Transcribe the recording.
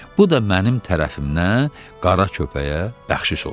bu da mənim tərəfimdən qara köpəyə bəxşiş olsun.